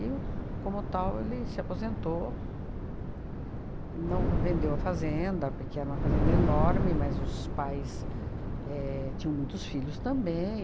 E, como tal, ele se aposentou e não, vendeu a fazenda, porque era uma fazenda enorme, mas os pais éh tinham muitos filhos também.